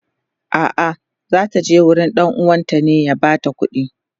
a'a zata je gurin ɗan uwanta ne ya bata kudi